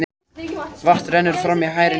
Vatn rennur fram í hægri nösina.